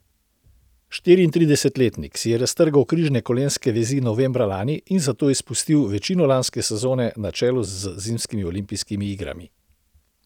Štiriintridesetletnik si je raztrgal križne kolenske vezi novembra lani in zato izpustil večino lanske sezone na čelu z zimskimi olimpijskimi igrami.